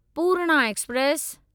Purna express